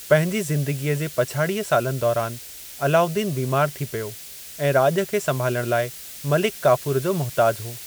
पंहिंजी ज़िंदगीअ जे पछाड़ीअ सालनि दौरान, अलाउद्दीन बीमारु थी पियो, ऐं राॼ खे संभालण लाइ मलिक काफूर जो मुहताजु हो।